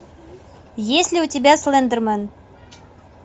есть ли у тебя слендермен